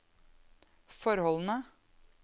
forholdene